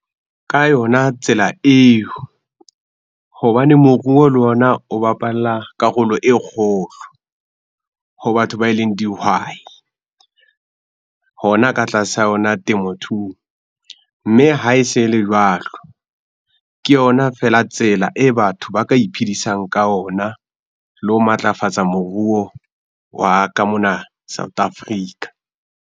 Ka yona tsela eo hobane moruo le ona o bapala karolo e kgolo ho batho ba eleng dihwai hona ka tlasa yona temothuo. Mme ha e se le jwalo, ke yona feela tsela e batho ba ka iphedisang ka ona le ho matlafatsa moruo wa ka mona South Africa.